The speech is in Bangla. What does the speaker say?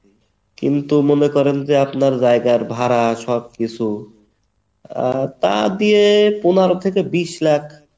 কিন্তু মনে করেন যে আপনার জায়গার ভাড়া সব কিছু আহ তা দিয়ে পনেরো থেকে বিশ লাখ